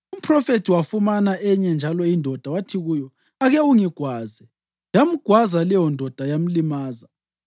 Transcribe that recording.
Umphrofethi wafumana enye njalo indoda wathi kuyo, “Ake ungigwaze.” Yamgwaza leyondoda yamlimaza.